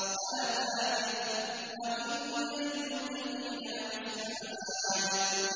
هَٰذَا ذِكْرٌ ۚ وَإِنَّ لِلْمُتَّقِينَ لَحُسْنَ مَآبٍ